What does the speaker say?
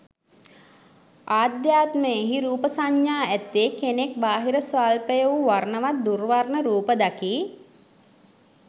ආධ්‍යාත්මයෙහි රූප සංඥා ඇත්තේ කෙනෙක් බාහිර ස්වල්ප වූ වර්ණවත් දුර්වර්ණ රූප දකියි.